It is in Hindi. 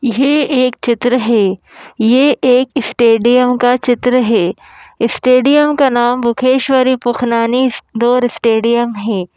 ये एक चित्र है ये एक स्टेडियम का चित्र है स्टेडियम का नाम बुखेश्वरी पुखनानी डोर स्टेडियम है।